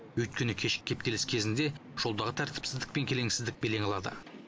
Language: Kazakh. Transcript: өйткені кешкі кептеліс кезінде жолдағы тәіртіпсіздік пен келеңсіздік белең алады